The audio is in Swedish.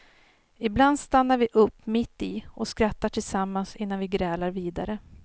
Ibland stannar vi upp mitt i och skrattar tillsammans innan vi grälar vidare.